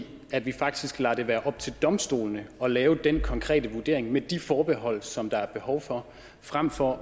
i at vi faktisk lader det være op til domstolene at lave den konkrete vurdering med de forbehold som der er behov for fremfor